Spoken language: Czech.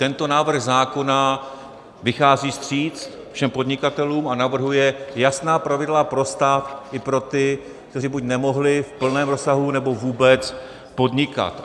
Tento návrh zákona vychází vstříc všem podnikatelům a navrhuje jasná pravidla pro stát i pro ty, kteří buď nemohli v plném rozsahu, nebo vůbec podnikat.